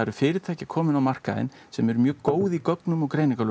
fyrirtæki komin á markaðinn sem eru mjög góð í gögnum og